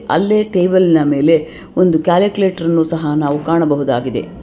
ಅಲ್ಲಿ ಟೇಬಲ್ ನ ಮೇಲೆ ಒಂದು ಕ್ಯಾಲ್ಕುಲೇಟರ್ ಅನ್ನು ಸಹ ನಾವು ಕಾಣಬಹುದಾಗಿದೆ.